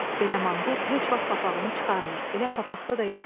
Belə manqurt heç vaxt papağını çıxarmır, elə papaqda da yatır.